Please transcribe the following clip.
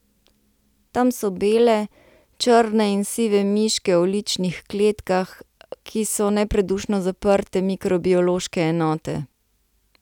Tam so bele, črne in sive miške v ličnih kletkah, ki so nepredušno zaprte mikrobiološke enote.